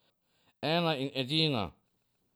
Ena in edina.